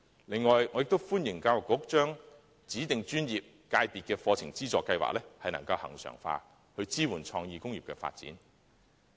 另外，我亦歡迎教育局將"指定專業/界別課程資助計劃"恆常化，以支援創意工業的發展。